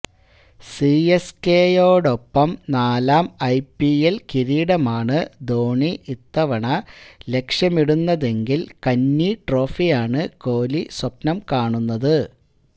സിഎസ്കെയോടൊപ്പം നാലാം ഐപിഎല് കിരീടമാണ് ധോണി ഇത്തവണ ലക്ഷ്യമിടുന്നതെങ്കില് കന്നി ട്രോഫിയാണ് കോലി സ്വപ്നം കാണുന്നത്